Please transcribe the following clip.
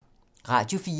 Radio 4